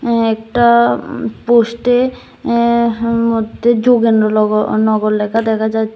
একটা উম পোস্ট এ অ্যা হ্ মধ্যে যোগেন্দ্র লগো নগর লেখা দেখা যায়।